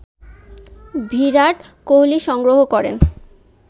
ভিরাট কোহলি সংগ্রহ করেন